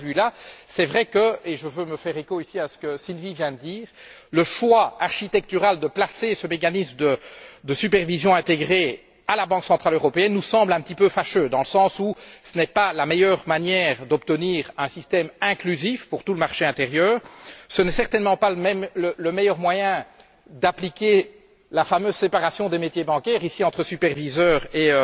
De ce point de vue, il est vrai que et je veux me faire l'écho ici de ce que Sylvie vient de dire le choix architectural de placer ce mécanisme de supervision intégrée à la Banque centrale européenne nous semble quelque peu fâcheux, dans le sens où ce n'est pas la meilleure manière d'obtenir un système inclusif pour tout le marché intérieur. Ce n'est certainement pas le meilleur moyen d'appliquer la fameuse séparation des métiers bancaires entre superviseurs et